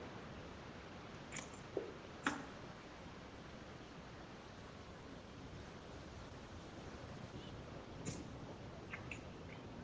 Við Þorgeir vorum stöðugt í sambandi og fljótlega varð úr að hann kæmi einnig norður.